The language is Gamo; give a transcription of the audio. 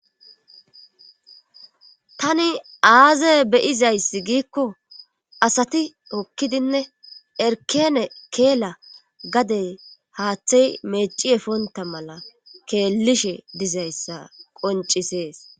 tani aaze beyizayssi giikko asati okkidinne erkene keela gadey haaththey meeci efonta mala keellishe dizayssa qoncisees